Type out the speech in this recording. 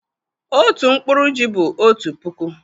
otu nkpuru ji bụ otu puku